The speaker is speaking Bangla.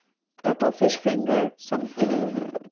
তারপর fish fingar